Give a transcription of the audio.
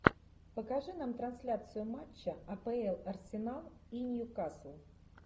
покажи нам трансляцию матча апл арсенал и ньюкасл